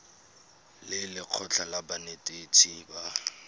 le lekgotlha la banetetshi ba